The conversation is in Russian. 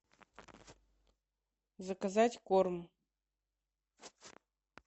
заказать корм